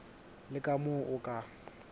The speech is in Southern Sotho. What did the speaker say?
le ka moo o ka